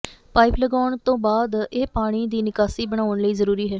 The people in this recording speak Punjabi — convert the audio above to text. ਪਾਈਪ ਲਗਾਉਣ ਤੋਂ ਬਾਅਦ ਇਹ ਪਾਣੀ ਦੀ ਨਿਕਾਸੀ ਬਣਾਉਣ ਲਈ ਜ਼ਰੂਰੀ ਹੈ